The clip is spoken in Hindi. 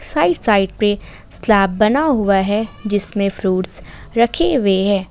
साइड साइड पे स्लैप बना हुआ है जिसमें फ्रूट्स रखे हुए हैं।